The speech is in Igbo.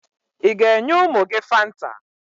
Ị ga-enye ụmụ gị Fanta?